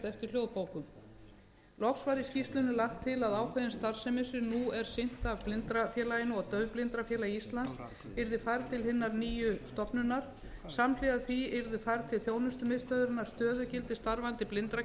eftir hljóðbókum loks er í skýrslunni lagt til að ákveðin starfsemi sem nú er sinnt af blindrafélaginu og daufblindrafélagi íslands verði færð til hinnar nýju stofnunar samhliða því verði færð til þjónustumiðstöðvarinnar stöðugildi starfandi